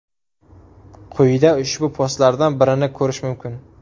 Quyida ushbu postlardan birini korish mumkin.